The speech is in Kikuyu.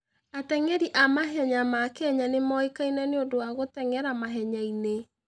Ateng'eri a mahenya ma Kenya nĩ moĩkaine nĩ ũndũ wa gũteng'era mahenya-inĩ.